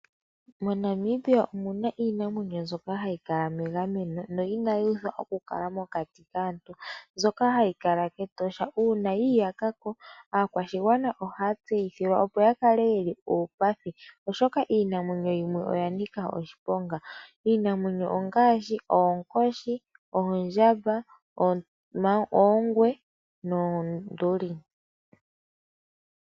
MoNamibia omuna iinamwenyo mbyoka hayi kala megameno no inayi uuthwa okukala mokati kaantu, mbyoka hayi kala kEtosha, uuna yiyakako aakwashigwana ohaya tseyithilwa opo ya kale yeli uupathi, oshoka iinamwenyo yimwe oya nika oshiponga, iinamwenyo ongashi oonkoshi, oondjamba, oongwe noonduli.